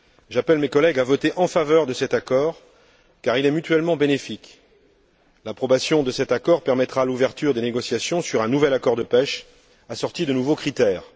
J'appelle mes collègues à voter en faveur de cet accord car il est mutuellement bénéfique. Son approbation permettra l'ouverture des négociations sur un nouvel accord de pêche, assorti de nouveaux critères.